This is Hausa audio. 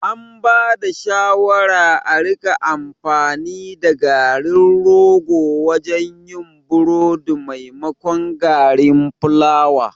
An bada shawara a rika amfani da garin rogo wajen yin burodi maimakon garin fulawa